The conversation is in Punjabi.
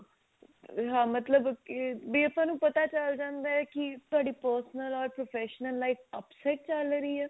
ਹਾਂ ਮਤਲਬ ਕੀ ਬੀ ਆਪਾਂ ਨੂੰ ਪਤਾ ਚਲ ਜਾਂਦਾ ਹੈ ਕੀ ਤੁਹਾਡੀ personal professional life upset ਚੱਲ ਰਹੀ ਆ